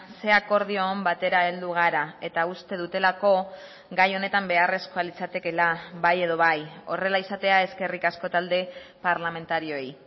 ze akordio on batera heldu gara eta uste dutelako gai honetan beharrezkoa litzatekeela bai edo bai horrela izatea eskerrik asko talde parlamentarioei